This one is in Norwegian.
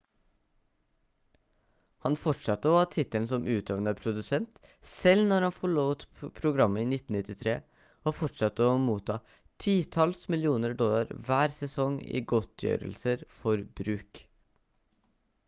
han fortsatte å ha tittelen som utøvende produsent selv når han forlot programmet i 1993 og fortsatte å motta titalls millioner dollar hver sesong i godtgjørelser for bruk